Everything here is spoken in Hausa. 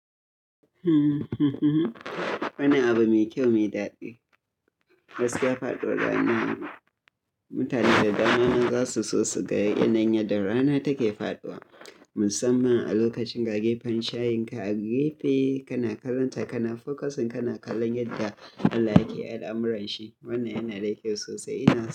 Hmm, hmm, hmm. Wani abu mai kyau, mai daɗi. Gaskiya faɗuwar rana mutane dadama za su so su ga yanayin yadda rana take faɗuwa. Musamman a lokacin ga gefen shayin ka, a gefe kana karanta kana focusing kana kallon yadda Allah yake al'amuran shi. Wannan yana da kyau sosai, ina sa.